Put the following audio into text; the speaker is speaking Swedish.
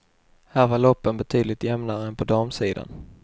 Här var loppen betydligt jämnare än på damsidan.